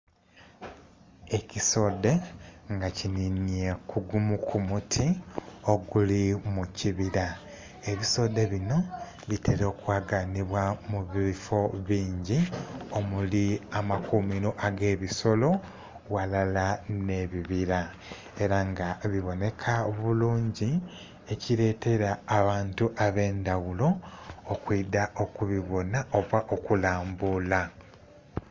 Ekisudhe nga kinhinye kugumu kumuti oguli mukibira, ebisudhe bino bitera okwaganibwa mubifo bingi omuli amakumiro agebisolo walala n'ebibira era nga biboneka bulungi kiretera abantu abendhaghulo okwiidha okubibona oba okulambula.